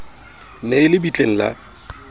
ne e le bitleng la